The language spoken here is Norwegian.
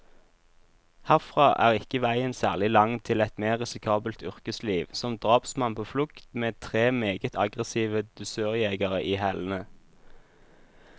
Herfra er ikke veien særlig lang til et mer risikabelt yrkesliv, som drapsmann på flukt, med tre meget aggressive dusørjegere i hælene.